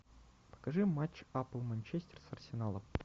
покажи матч апл манчестер с арсеналом